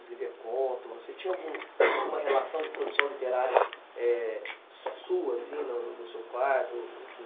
Você tinha algum alguma relação de produção literária eh, só sua, assim, no seu quarto? Enfim...